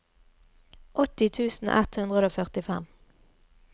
åtti tusen ett hundre og førtifem